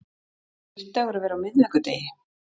Á skírdagur að vera á miðvikudegi